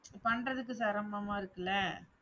பண்றதுக்கு சிரமமா இருக்குல்ல